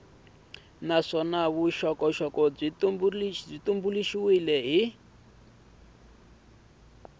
naswona vuxokoxoko byi tumbuluxiwile hi